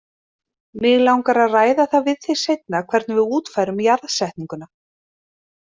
Mig langar að ræða það við þig seinna hvernig við útfærum jarðsetninguna.